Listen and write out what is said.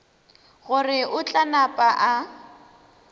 gore o tla napa a